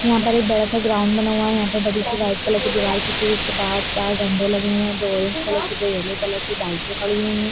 यहाँ पर एक बड़ा सा ग्राउंड बना हुआ है यहाँ पे बड़ी सी व्हाइट कलर की दीवाल खींची हुई है उसके बाहर चार झंडे लगे हुए हैं दो ऑरेंज कलर के दो येलो कलर के बाइके खड़ी हुई है।